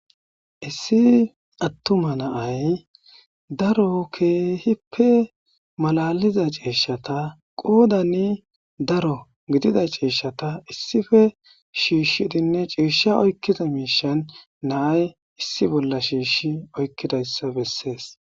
Issi attuma na'ay daro keehipe malaliza ciishshata,qoodani daro gidida ciishshata issife shiishshidinne ciisha oykkiza miishan na'ay issi bolla shiish oykkidayssa bessees.